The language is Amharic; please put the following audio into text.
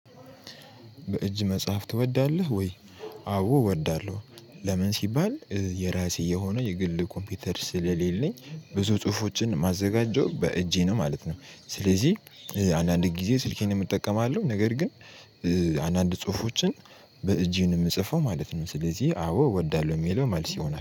በእጅ መጽሐፍ ትወዳለህ ወይ? አዎ እወዳለሁ ለምን ሲባል የራሴ የሆነ የግል ኮምፒውተር ስለሌለኝ ብዙ ጽሁፎችን ማዘጋጀው በእጄ ነው ማለት ነው። ስለዚህ አንዳንድ ጊዜ ስልኬን እጠቀማለሁ ነገር ግን። አንድ አንድ ጽሁፎችን በእጄ ነው ምጽፈው ማለት ነው። ስለዚህ አዎ እወዳለሁ የሚለው መልስ ይሆናል